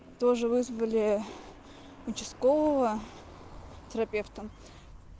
тоже вызвали участкового терапевта